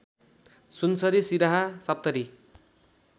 Sunsari Siraha Saptari